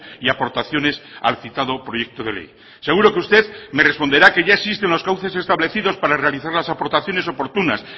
y aportaciones al citado proyecto de ley seguro que usted me responderá que ya existen los cauces establecidos para realizar las aportaciones oportunas